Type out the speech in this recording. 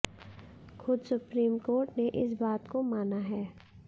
खुद supreme court ने इस बात को माना है